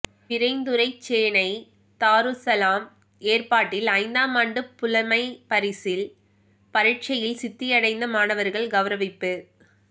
பிறைந்துரைச்சேனை தாருஸ்ஸலாம் ஏற்பாட்டில் ஐந்தாமாண்டு புலமைப்பரிசில் பரீட்சையில் சித்தியடைந்த மாணவர்கள் கெளரவிப்பு